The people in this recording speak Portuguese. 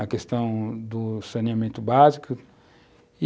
a questão do saneamento básico.